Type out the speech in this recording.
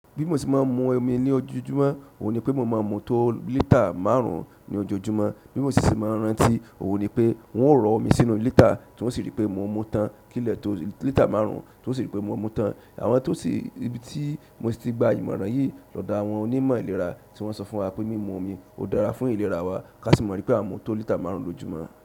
Bi mo se ma n mu omi ni ojojumo oun nipe mo ma n mu to liter márùn ni ojoojúmọ́. Bí mo sì ṣe máa ń rántí, òun ni pé n o rọ̀ ọ́ mi sínú lítà tí wọ́n sì rí pé mò mú tán kíle to lítà márùn-ún tí wọ́n sì rí pé mò mú tán. Àwọn tó si ibi tí mo ti gba ìmọ̀ràn yìí lọ́dọ̀ àwọn onímọ̀ ìlera tí wọ́n sọ fún wa pé mímu omi ó dára fún ìlera wa ká sì mọ̀ ripé a ń mu tó lítà márùn-ún lójúmọ́.